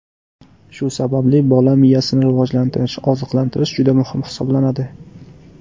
Shu sababli bola miyasini rivojlantirish, oziqlantirish juda muhim hisoblanadi.